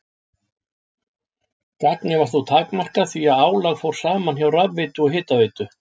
Gagnið var þó takmarkað því að álag fór saman hjá rafveitu og hitaveitu.